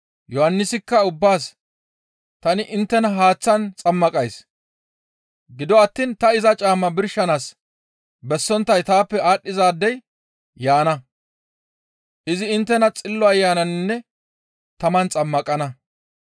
Yohannisikka ubbaas, «Tani inttena haaththan xammaqays; gido attiin ta iza caamma birshanaas bessonttay taappe aadhdhizaadey yaana. Izi inttena Xillo Ayananinne taman xammaqana.